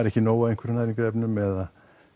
ekki nóg af næringarefnum eða